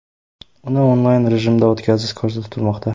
Uni onlayn rejimda o‘tkazish ko‘zda tutilmoqda.